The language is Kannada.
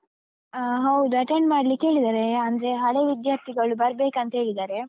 ಅಹ್ ಹೌದು. attend ಮಾಡ್ಲಿಕ್ಕೆ ಹೇಳಿದ್ದಾರೆ. ಅಂದ್ರೆ ಹಳೇ ವಿದ್ಯಾರ್ಥಿಗಳು ಬರ್ಬೇಕಂತ ಹೇಳಿದ್ದಾರೆ.